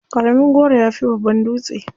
Ƙaramin goro ya fi babban dutse.